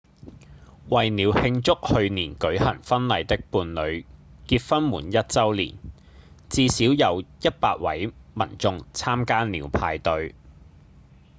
為了慶祝去年舉行婚禮的伴侶結婚滿一週年至少有100位民眾參加了派對